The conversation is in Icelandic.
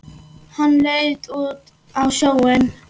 Hann leit út á sjóinn.